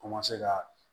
ka